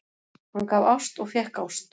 Hann gaf ást og fékk ást.